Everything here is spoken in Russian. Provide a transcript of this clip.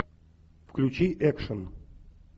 включи экшн